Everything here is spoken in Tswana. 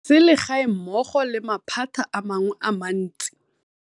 Sele gae mmogo le maphata a mangwe a mantsi.